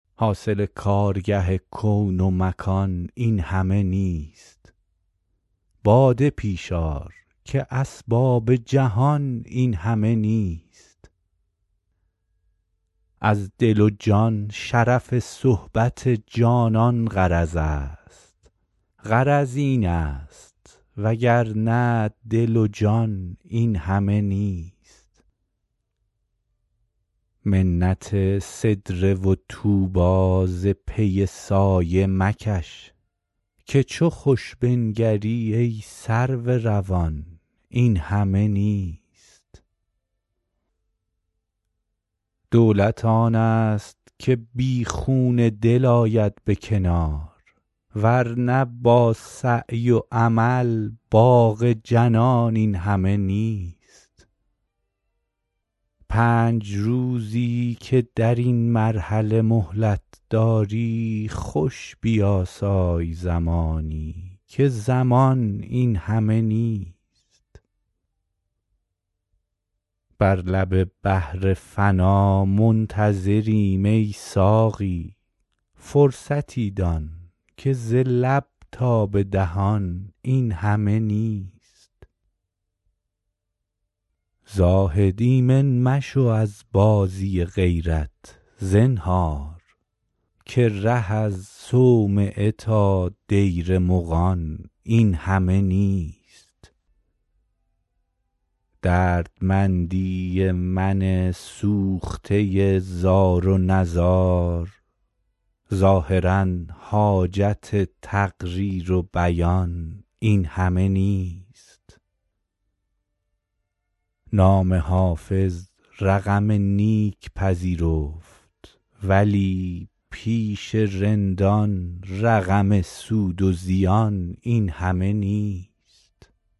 حاصل کارگه کون و مکان این همه نیست باده پیش آر که اسباب جهان این همه نیست از دل و جان شرف صحبت جانان غرض است غرض این است وگرنه دل و جان این همه نیست منت سدره و طوبی ز پی سایه مکش که چو خوش بنگری ای سرو روان این همه نیست دولت آن است که بی خون دل آید به کنار ور نه با سعی و عمل باغ جنان این همه نیست پنج روزی که در این مرحله مهلت داری خوش بیاسای زمانی که زمان این همه نیست بر لب بحر فنا منتظریم ای ساقی فرصتی دان که ز لب تا به دهان این همه نیست زاهد ایمن مشو از بازی غیرت زنهار که ره از صومعه تا دیر مغان این همه نیست دردمندی من سوخته زار و نزار ظاهرا حاجت تقریر و بیان این همه نیست نام حافظ رقم نیک پذیرفت ولی پیش رندان رقم سود و زیان این همه نیست